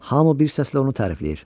Hamı bir səslə onu tərifləyir.